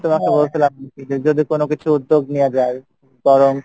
তোমাকে বলছিল যদি কোনো কিছু উদ্যোগ নেওয়া যাই, কারন